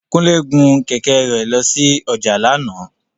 Kúnlé gun kẹ̀kẹ́ rẹ̀ lọ sí ọjà lánàá